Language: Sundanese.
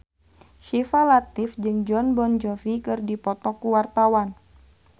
Syifa Latief jeung Jon Bon Jovi keur dipoto ku wartawan